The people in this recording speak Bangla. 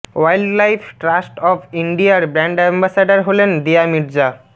ওয়াইল্ড লাইফ ট্রাস্ট অফ ইন্ডিয়ার ব্র্যান্ড অ্যাম্বাসাডর হলেন দিয়া মির্জা